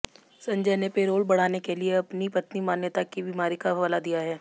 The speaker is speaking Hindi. संजय ने पेरोल बढ़ाने के लिए अपनी पत्नी मान्यता की बीमारी का हवाला दिया है